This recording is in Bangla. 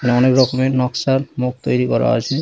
অনেক রকমের নকশার মুখ তৈরি করা আছে ।